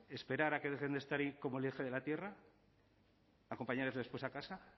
esperar a que dejen de estar como el eje de la tierra acompañarles después a casa